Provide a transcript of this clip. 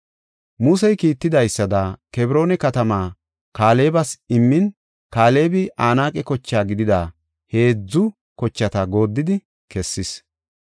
Musey kiittidaysada, Kebroona katamaa Kaalebas immin Kaalebi Anaaqe koche gidida heedzu kochata gooddidi kessis.